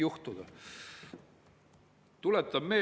Lugupeetud Erkki Keldo, kes te diskussioonis jätkuvalt aktiivselt osalete!